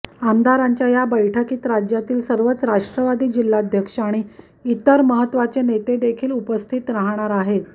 आमदारांच्या या बैठकीत राज्यातील सर्वच राष्ट्रवादी जिल्ह्याध्यक्ष आणि इतर महत्वाचे नेते देखील उपस्थित राहणार आहेत